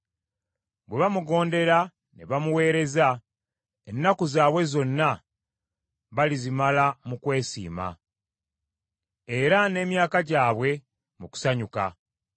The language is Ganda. Bwe bamugondera ne bamuweereza, ennaku zaabwe zonna balizimala mu kwesiima, era n’emyaka gyabwe mu kusanyuka.